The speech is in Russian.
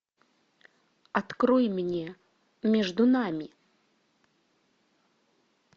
открой мне между нами